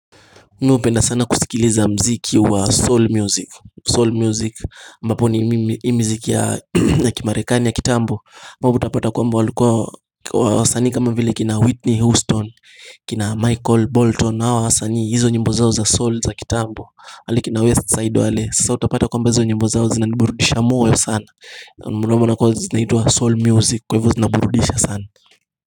Nipenda sana kusikiliza mziki wa soul music Soul music ambapo ni mziki ya kimarekani ya kitambo Mabu utapata kwamba walikuwa wasani kama vile kina whitney houston kina michael bolton na wa wasani hizo nyimbo zao za soul za kitambo Halikina west side wale sasa utapata kwamba hizo nyembo zao zinaniburudisha moya sana Mnumona kwa zinaitua soul music kwa hivu zinaburudisha sana.